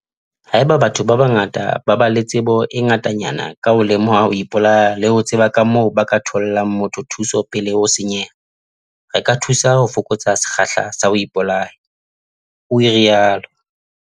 "Haeba batho ba bangata ba ba le tsebo e ngatanyana ka ho lemoha ho ipolaya le ho tseba kamoo ba ka thollang motho thuso pele ho senyeha, re ka thusa ho fokotsa sekgahla sa ho ipolaya," o rialo.